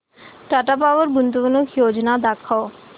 Tata power गुंतवणूक योजना दाखव